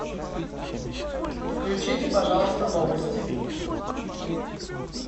включите пожалуйста новости